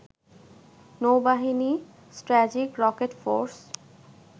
নৌবাহিনী, strategic rocket force